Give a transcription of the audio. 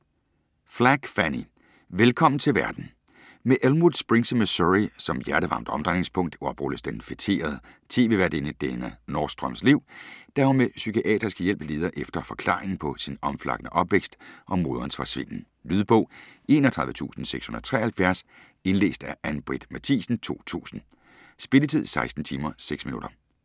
Flagg, Fannie: Velkommen til verden Med Elmwood Springs i Missouri som hjertevarmt omdrejningspunkt oprulles den feterede tv-værtinde Dena Nordstroms liv, da hun med psykiatrisk hjælp leder efter forklaringen på sin omflakkende opvækst og moderens forsvinden. Lydbog 31673 Indlæst af Ann-Britt Mathiesen, 2000. Spilletid: 16 timer, 6 minutter.